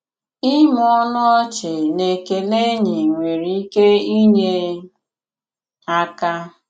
Ị̀mụ̀ ọnụ ọ̀chì na ekèlè ènỳí nwere ìkè inyè àka.